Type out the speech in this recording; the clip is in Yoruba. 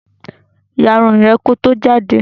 Yà ìrun rẹ ki ó tó jàde!